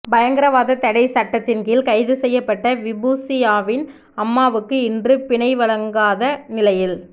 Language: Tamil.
பயங்கரவாத தடை தட்டத்தின் கீழ் கைது செய்யப்பட்ட விபூசியாவின் அம்மாவுக்கு இன்றும் பிணை வழங்காத நிலையில்